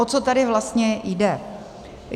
O co tady vlastně jde?